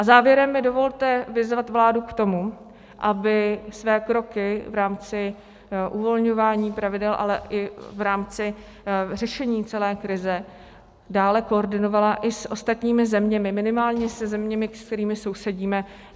A závěrem mi dovolte vyzvat vládu k tomu, aby své kroky v rámci uvolňování pravidel, ale i v rámci řešení celé krize dále koordinovala i s ostatními zeměmi, minimálně se zeměmi, se kterými sousedíme.